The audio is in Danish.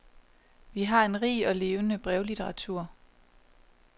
Vi har en rig og levende brevlitteratur.